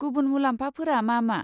गुबुन मुलाम्फाफोरा मा मा?